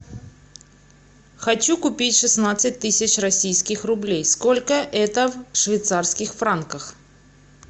хочу купить шестнадцать тысяч российских рублей сколько это в швейцарских франках